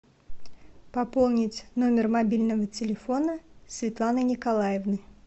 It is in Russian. пополнить номер мобильного телефона светланы николаевны